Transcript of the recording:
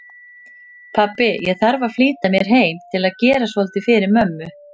Pabbi, ég þarf að flýta mér heim til að gera svolítið fyrir mömmu